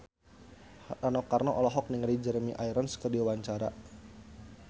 Rano Karno olohok ningali Jeremy Irons keur diwawancara